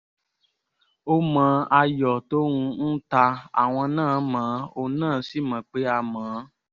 ó mọ ayọ̀ tóun ń ta àwọn náà mọ́ ọn ó sì mọ̀ pé a mọ̀ ọ́n